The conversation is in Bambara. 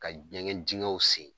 Ka ɲɛgɛn dingɛw sen